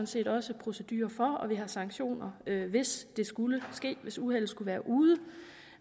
set også procedurer for og vi har sanktioner hvis det skulle ske hvis uheldet skulle være ude